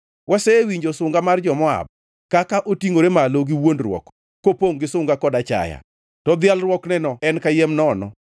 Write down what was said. Wasewinjo sunga mar Moab, kaka otingʼore malo gi wuondruok, kopongʼ gi sunga kod achaya, to dhialruokneno en kayiem nono.